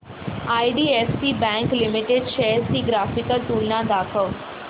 IDFC bank limited shares ची graphical तुलना दाखव